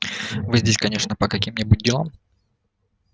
вы здесь конечно по каким-нибудь делам